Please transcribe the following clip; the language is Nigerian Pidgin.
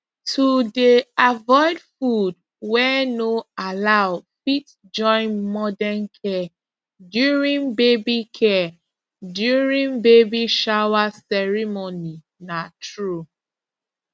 to dey avoid food wey no allow fit join modern care during baby care during baby shower ceremony na true